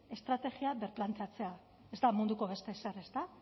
estrategia birplanteatzea ez da munduko beste ezer ezta